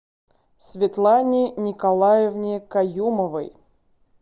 светлане николаевне каюмовой